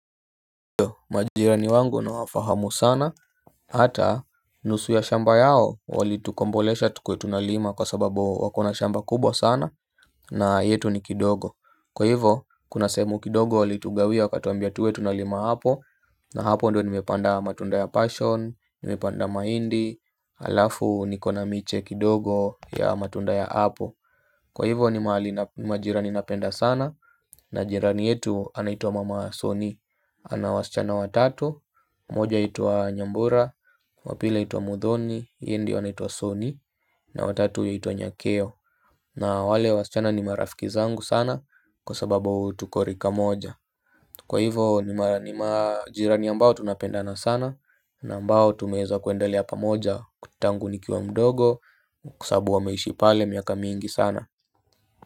Majirani wangu nawafahamu sana hata nusu ya shamba yao walitukombolesha tukue tunalima kwa sababu wakona shamba kubwa sana. Na yetu ni kidogo. Kwa hivyo kuna sehemu kidogo walitugawia wakatwambia tuwe tunalima hapo. Na hapo ndio nimepanda matunda ya passion, nimepanda mahindi, alafu nikona miche kidogo ya matunda ya hapo. Kwa hivyo ni majirani napenda sana. Navjirani yetu anaitwa mama soni. Ana wasichana watatu mmoja anaitwa Nyambura. Wa pili anaitwa muthoni yeye ndio anaitwa Soni. Na watatu huitwa Nyakeo. Na wale wasichana ni marafiki zangu sana. Kwa sababu tuko rika moja. Kwa hivo ni majirani ambao tunapendana sana. Na ambao tumeweza kuendelea pamoja tangu nikiwa mdogo. Kwa sababu wameishi pale miaka mingi sana.